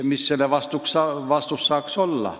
Mis saaks siis vastus olla?